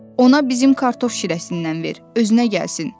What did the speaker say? Ona bizim kartof şirəsindən ver, özünə gəlsin!